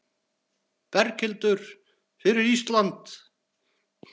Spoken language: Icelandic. Berghildur: Fyrir Ísland?